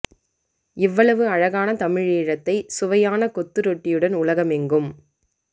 இவ்வளவு அழகான தமிழீழ்த்தை சுவையான கொத்துரொட்டியுடன் உலகமெங்கும்